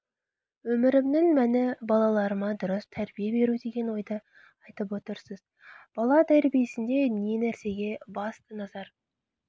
өмірімнің мәні балаларыма дұрыс тәрбие беру деген ойды айтып отырсыз бала тәрбиесінде не нәрсеге басты назар